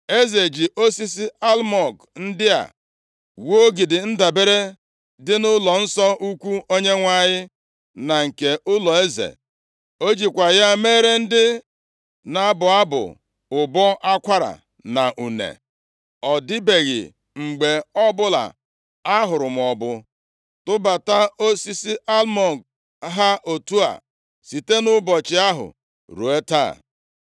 Eze ji osisi almụg ndị a wuo ogidi ndabere dị nʼụlọnsọ ukwu Onyenwe anyị na nke ụlọeze. O jikwa ya meere ndị na-abụ abụ ụbọ akwara na une. Ọ dịbeghị mgbe ọbụla ahụrụ maọbụ tụbata osisi almụg ha otu a site nʼụbọchị ahụ ruo taa.)